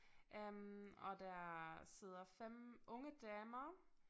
Øh og der sidder 5 unge damer